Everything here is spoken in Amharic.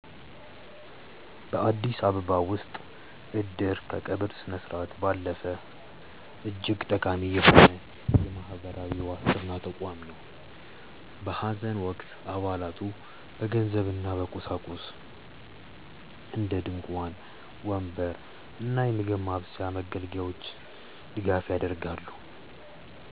በአዲስ አበባ ከተማ ውስጥ "እድር" ከቀብር ስነስርዓት ባለፈ እጅግ ጠቃሚ የሆነ የማህበራዊ ዋስትና ተቋም ነው። በሐዘን ወቅት አባላቱ በገንዘብና በቁሳቁስ (እንደ ድንኳን፣ ወንበር እና የምግብ ማብሰያ መገልገያዎች) ድጋፍ ያደርጋሉ።